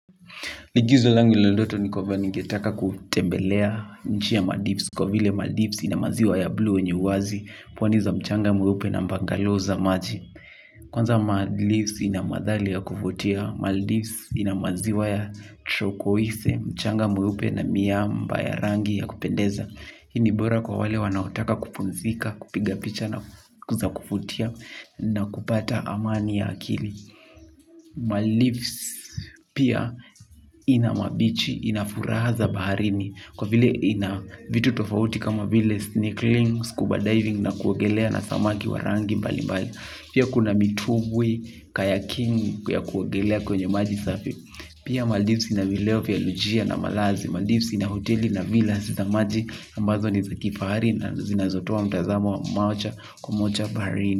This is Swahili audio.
Igizo langu la ndoto ni kuwa ningetaka kutembelea nchi ya Madisko. Kwa vile Madipsi na maziwa ya blue wenye uwazi. Pwa za mchanga mweupe na mbangalow maji. Kwanza Maldives inamadhali ya kufutia. Maldives inamaziwa ya chukoise. Mchanga mweupe na miamba ya rangi ya kupendeza. Hii bora kwa wale wanaotaka kupumzika, kupiga picha na kuvutia na kupata amani ya akili. Maldives pia ina mabichi, ina furaha za baharini. Kwa vile ina vitu tofauti kama vile snieak links, scuba diving na kuogelea na samaki wa rangi mbali mbali. Pia kuna mitubwi kaya king ya kuogelea kwenye maji safi. Pia Maldives ina vileo vila lujia na malazi Maldives ina hoteli na vila zinamaji ambazo ni za kifahari na zinazotoa mtazamo wa moja kwa moja baharini.